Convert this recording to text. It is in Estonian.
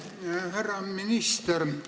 Härra minister!